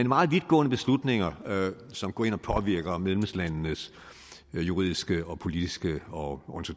meget vidtgående beslutninger som går ind og påvirker medlemslandenes juridiske politiske og